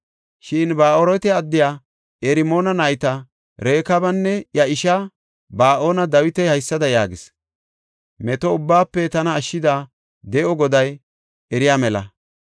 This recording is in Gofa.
Shin Ba7aarote addiya Irmoona nayta Rekaabanne iya ishaa Ba7ana Dawiti haysada yaagis; “Meto ubbaafe tana ashshida de7o Goday eriya mela.